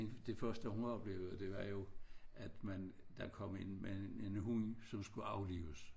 Det første hun oplevede det var jo at man der kom en mand en hund som skulle aflives